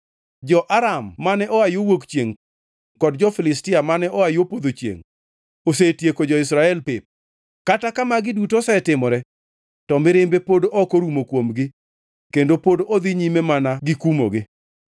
Jo-Aram mane oa yo wuok chiengʼ kod jo-Filistia mane oa yo podho chiengʼ; osetieko jo-Israel pep. Kata ka magi duto osetimore, to mirimbe pod ok orumo kuomgi kendo pod odhi nyime mana gikumogi.